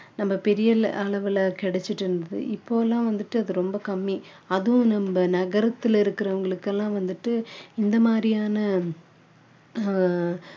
நம்ம பெரிய அளவுல கிடைச்சிட்டு இருந்துது இப்போ எல்லாம் வந்துட்டு அது ரொம்ப கம்மி அதுவும் நம்ம நகரத்துல இருக்குறவங்களுக்கு எல்லாம் வந்துட்டு இந்த மாதிரியான ஆஹ்